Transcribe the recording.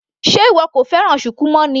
Sé ìwọ kò fẹ́ràn shuku mọ́ ni.